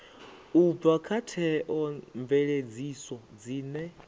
u bva kha theomveledziso dzine